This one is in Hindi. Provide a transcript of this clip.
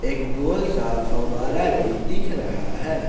एक गोल सा फौवारा भी दिख रहा है।